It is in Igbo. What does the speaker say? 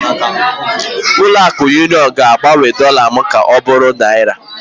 Ụlọ akụ Union ga-agbanwe dollar m ka ọ bụrụ naira?